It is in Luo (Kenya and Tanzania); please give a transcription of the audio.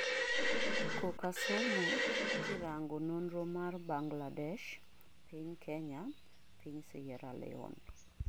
koka somo kirango nonro mar Bangladesh , piny Kenya, piny Sierra Leon